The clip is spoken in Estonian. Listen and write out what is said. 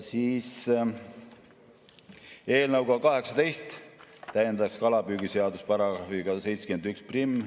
Eelnõu punktiga 18 täiendatakse kalapüügiseadust §-ga 711.